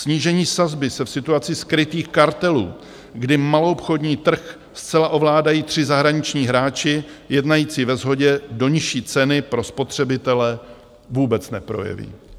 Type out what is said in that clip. Snížení sazby se v situaci skrytých kartelů, kdy maloobchodní trh zcela ovládají tři zahraniční hráči jednající ve shodě, do nižší ceny pro spotřebitele vůbec neprojeví.